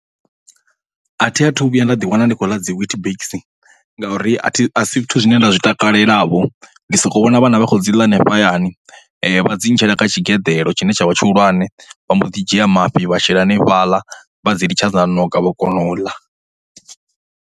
A thi athu vhuya nda ḓiwana ndi khou ḽa dzi WeetBix ngauri a this, a si zwithu zwine nda zwi takalelavho, ndi sokou vhona vhana vha khou dzi ḽa henefha hayani. Vha dzi itela nga tshigeḓlo tshine tsha vha tshihulwane vha mbo ḓi dzhia mafhi vha shela henefhaḽa vha dzi litsha dza ṋoka vha kona u ḽa.